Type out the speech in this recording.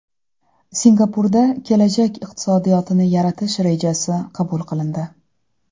Singapurda kelajak iqtisodiyotini yaratish rejasi qabul qilindi.